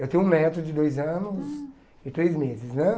Eu tenho um neto de dois anos e três meses, né?